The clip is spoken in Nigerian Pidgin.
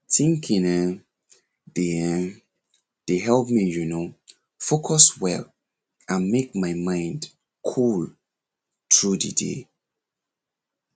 thinking[um]dey[um]dey help me you know focus well and make my mind cool through the day